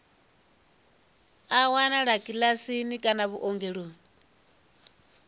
a wanalea kiḽiniki kana vhuongeloni